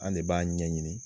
An de b'a ɲɛ ɲini